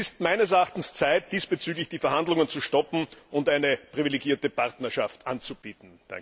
Es ist meines Erachtens Zeit, diesbezüglich die Verhandlungen zu stoppen und eine privilegierte Partnerschaft anzubieten.